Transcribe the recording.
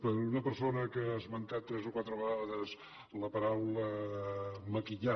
per una persona que ha esmentat tres o quatre vegades la paraula maquillar